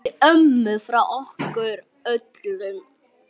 Kysstu ömmu frá okkur öllum.